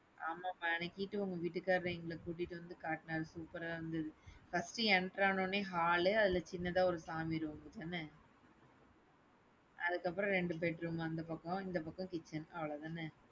ஆமா உங்க வீட்டுகாரர் எங்கள கூட்டிட்டுவந்து காட்டுனாரு. super ஆ இருந்தது. First enter ஆன உடனே hall அதுல சின்னதா ஒரு சாமி ரூம் அதானே? அதுக்கப்புறம் ரெண்டு bedroom அந்த பக்கம், இந்த பக்கம் kitchen அவ்வளவுதானே?